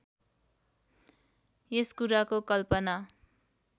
यस कुराको कल्पना